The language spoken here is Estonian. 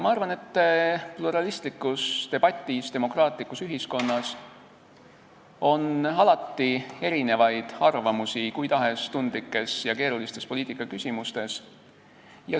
Ma arvan, et demokraatlikus ühiskonnas on pluralistlikus debatis alati erinevaid arvamusi kui tahes tundlike ja keeruliste poliitikaküsimuste kohta.